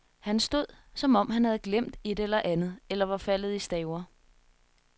Han stod, som om han havde glemt et eller andet, eller var faldet i staver.